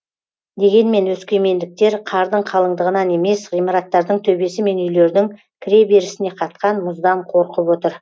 дегенмен өскемендіктер қардың қалыңдығынан емес ғимараттардың төбесі мен үйлердің кіреберісіне қатқан мұздан қорқып отыр